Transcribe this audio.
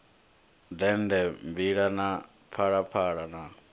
dende mbila na phalaphala na